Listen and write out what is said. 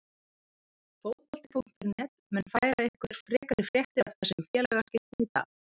Fótbolti.net mun færa ykkur frekari fréttir af þessum félagaskiptum í dag.